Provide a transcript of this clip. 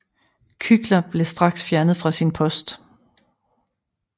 Küchler blev straks fjernet fra sin post